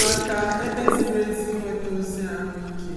màkà ebe ziri ezi inwėtȧ ozi àhụikė